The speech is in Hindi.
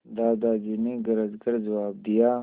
दादाजी ने गरज कर जवाब दिया